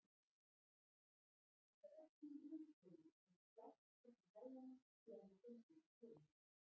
Hann er ekki í ilskónum sem slást upp í hælana þegar hann gengur um stofuna.